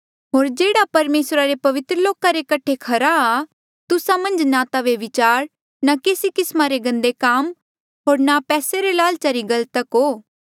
होर जेह्ड़ा परमेसरा रे पवित्र लोका रे खरा आ तुस्सा मन्झ ना ता व्यभिचार ना केसी किस्मा रे गंदे काम होर ना पैसे रे लालचा री गल तक हो